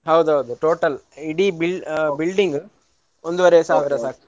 ಹೌದೌದು total ಇಡಿ b~ building ಒಂದೂವರೆ ಸಾವಿರ ಸಾಕು.